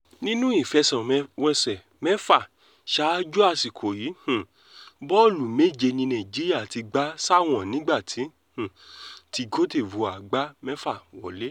nínú ìfẹsẹ̀wọnsẹ̀ mẹ́fà ṣáájú àsìkò yìí um bọ́ọ̀lù méje ni nàìjíríà ti gbà sáwọn nígbà um tí côte divore gbá mẹ́fà wọ̀lẹ̀